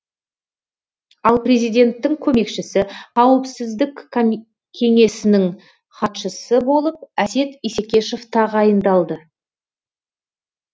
ал президенттің көмекшісі қауіпсіздік кеңесінің хатшысы болып әсет исекешев тағайындалды